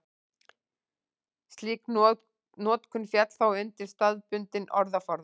slík notkun félli þá undir staðbundinn orðaforða